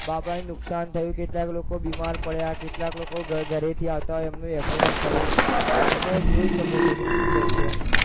આપણને નુકસાન થયું કેટલાક લોકો બીમાર પડ્યા કેટલાક લોકો ઘરેથી આવતા એમનું accident થયું તમે જોઈ શકો છો જેમકે